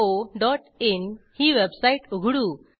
irctccoइन ही वेबसाईट उघडू